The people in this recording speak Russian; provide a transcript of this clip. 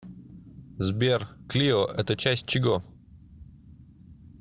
сбер клио это часть чего